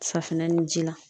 Safinɛ ni ji la.